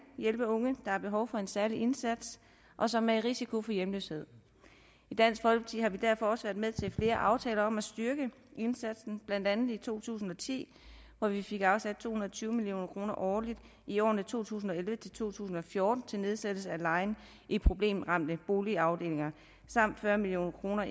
hjælpe unge har behov for en særlig indsats og som er i risiko for hjemløshed i dansk folkeparti har vi derfor også været med til flere aftaler om at styrke indsatsen blandt andet i to tusind og ti hvor vi fik afsat to og tyve million kroner årligt i årene to tusind og elleve til to tusind og fjorten til nedsættelse af lejen i problemramte boligafdelinger samt fyrre million kroner